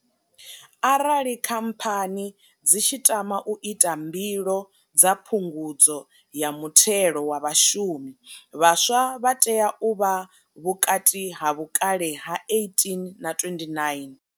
Arali khamphani dzi tshi tama u ita mbilo dza phungudzo ya muthelo wa vhashumi, vhaswa vha tea u vha vhukati ha vhukale ha 18 na 29.